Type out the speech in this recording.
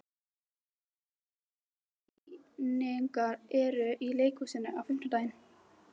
Hermína, hvaða sýningar eru í leikhúsinu á fimmtudaginn?